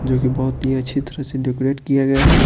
जो कि बहुत ही अच्छी तरह से डेकोरेट किया गया है।